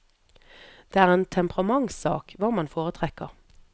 Det er en temperamentssak hva man foretrekker.